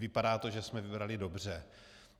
Vypadá to, že jsme vybrali dobře.